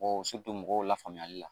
mɔgɔw la faamuyali la